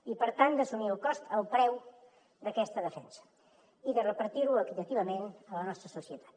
i per tant d’assumir el cost el preu d’aquesta defensa i de repartir lo equitativament a la nostra societat